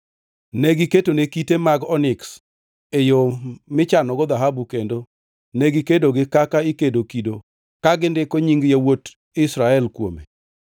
Ne giketone kite mag oniks e yo michanogo dhahabu kendo negikedogi kaka ikedo kido ka gindiko nying yawuot Israel kuome.